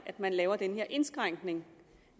at man laver den her indskrænkning